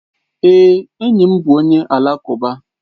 Èé, enyi m bụ onye alakụba.